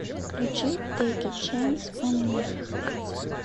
включи тэйк э чэнс он ми